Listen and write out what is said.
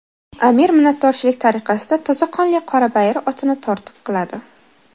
Amir minnatdorchilik tariqasida toza qonli qorabayir otini tortiq qiladi.